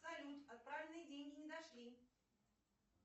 салют отправленные деньги не дошли